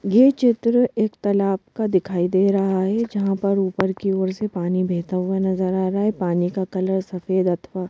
ये चित्र एक तालाब का दिखाई दे रहा है जहाँ पर ऊपर की ओर से पानी बहता हुआ नज़र आ रहा है पानी का कलर सफेद अथवा --